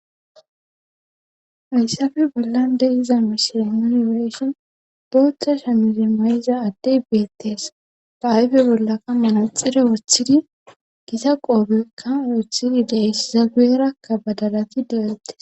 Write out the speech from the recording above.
Ayssafe bollan de iza mishiri muniweeshin boothcha shamizi may7iza addey beettees faayfe bollakka manaxire wooththidi gita qoobekka wooththidi deys zageerakka badalati de'ettes.